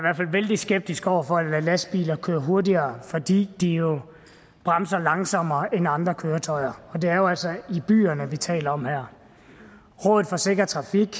vældig skeptisk over for at lade lastbiler køre hurtigere fordi de jo bremser langsommere end andre køretøjer og det er jo altså kørsel i byerne vi taler om her rådet for sikker trafik